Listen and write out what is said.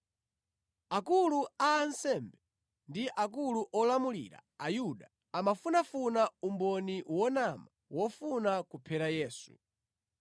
Akulu a ansembe ndi akulu olamulira Ayuda amafunafuna umboni wonama wofuna kuphera Yesu.